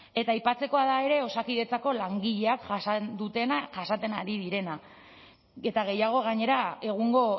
eta aipatzekoa da ere osakidetzako langileak jasan dutena jasaten ari direna eta gehiago gainera egungo